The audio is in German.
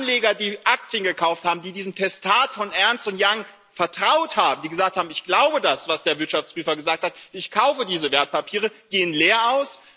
Anleger, die Aktien gekauft haben, die diesem Testat von Ernst Young vertraut haben die gesagt haben Ich glaube das, was der Wirtschaftsprüfer gesagt hat, ich kaufe diese Wertpapiere gehen leer aus.